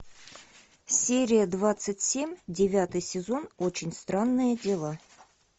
серия двадцать семь девятый сезон очень странные дела